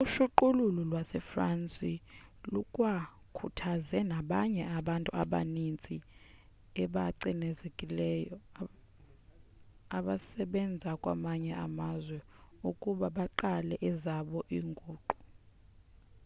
uqhushululu lwasefrance lukwakhuthaze nabanye abantu abaninzi abacinezelekileyo abasebenza kwamanye amazwe ukuba baqale ezabo iinguqu